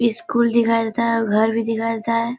School दिखाई देेता है और घर भी दिखाई देता है।